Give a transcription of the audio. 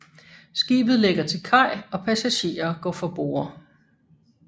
Skibet lægger til kaj og passagerer går fra borde